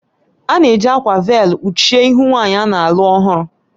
A na-eji akwa véélu kpuchie ihu nwanyị a na-alụ ọhụrụ